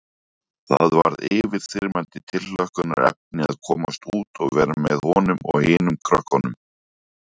Það varð yfirþyrmandi tilhlökkunarefni að komast út og vera með honum og hinum krökkunum.